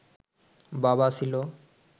বাবা ছিল